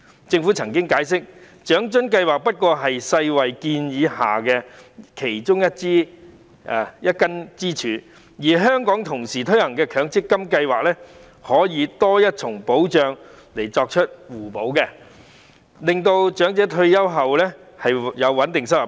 政府曾解釋，長津計劃不過是世界衞生組織建議下的其中一根支柱，而香港同時推行的強制性公積金計劃可以提供多一重保障，以作互補，令長者退休後有穩定收入。